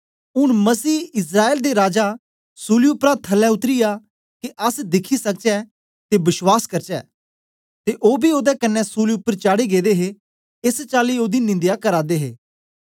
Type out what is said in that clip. ऊन मसीहइस्राएल दे राजासूली उपरा थल्लै उतरी आ के अस दिखी सकचै ते बश्वास करचै ते ओ बी ओदे कन्ने सूली उपर चाढ़े गेदे हे एस चाली ओदी निंदया करा दे हे